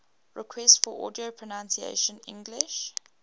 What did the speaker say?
requests for audio pronunciation english